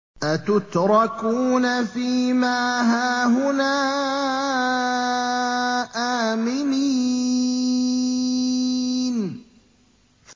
أَتُتْرَكُونَ فِي مَا هَاهُنَا آمِنِينَ